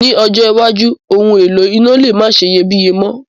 Ní ọjọ́ iwájú, oun èlò iná le ma seyebíye mo